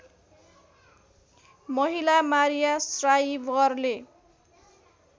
महिला मारिया श्राइवरले